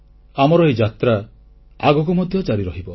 ଆମର ଏହି ଯାତ୍ରା ଆଗକୁ ମଧ୍ୟ ଜାରି ରହିବ